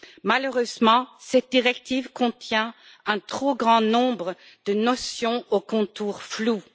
Malheureusement, cette directive contient un trop grand nombre de notions aux contours flous.